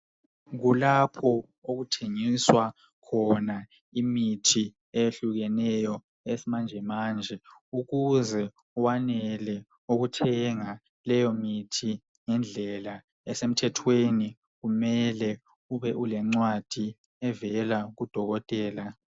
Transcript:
Kulapho okuthengiswa khona imithi eyehlukrleneyo yesimanjemanje. Ukuze wanele ukuthenga leyomithi ngendlela esemthethweni kumele ube ulencwadi evela kuDokotela.